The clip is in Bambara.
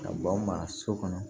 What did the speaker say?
Ka b'an ma so kɔnɔ